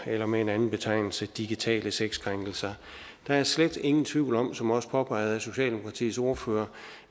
eller med en anden betegnelse digitale sexkrænkelser der er slet ingen tvivl om som også påpeget af socialdemokratiets ordfører